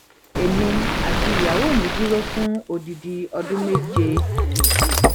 èmi àti ìyàwó mi dúró fún odidi ọdún méje